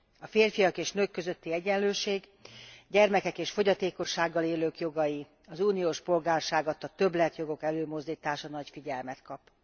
A férfiak és nők közötti egyenlőség, gyermekek és fogyatékossággal élők jogai, az uniós polgárság adta többletjogok előmozdítása nagy figyelmet kap.